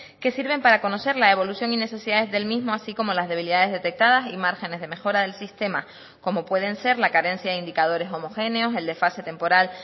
que sirven para conocer la evolución y necesidades del mismo así como las debilidades detectadas y márgenes de mejora del sistema como pueden ser la carencia de indicadores homogéneos el desfase temporal